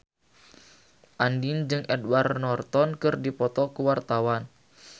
Andien jeung Edward Norton keur dipoto ku wartawan